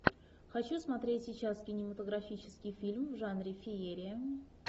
хочу смотреть сейчас кинематографический фильм в жанре феерия